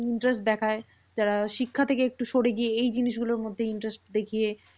Interest দেখায়। যারা শিক্ষা থেকে একটু সরে গিয়ে এই জিনিসগুলোর মধ্যে interest দেখিয়ে,